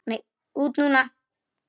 Út núna?